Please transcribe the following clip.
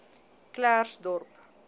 klersdorp